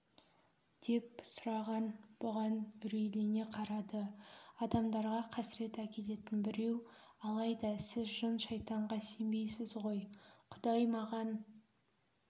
деп сұраған бұған үрейлене қарады адамдарға қасірет әкелетін біреу алайда сіз жын-шайтанға сенбейсіз ғой құдай маған